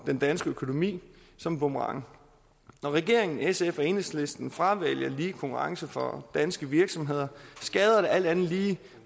den danske økonomi som en boomerang når regeringen sf og enhedslisten fravælger lige konkurrence for danske virksomheder skader det alt andet lige